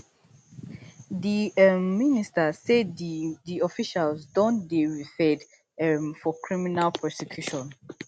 di um minister say di di officials don dey referred um for criminal prosecution